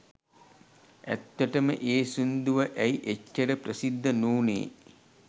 ඇත්තටම ඒ සින්දුව ඇයි එච්චර ප්‍රසිද්ධ නූනේ